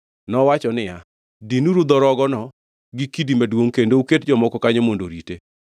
nowacho niya, “Dinuru dho rogono gi kidi maduongʼ kendo uket jomoko kanyo mondo orite.